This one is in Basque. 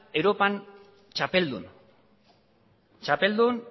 europan txapeldun txapeldun